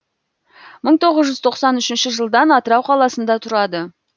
мың тоғыз жүз тоқсан үшінші жылдан атырау қаласында тұрады